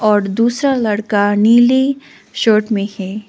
और दूसरा लड़का नीली शर्ट में है।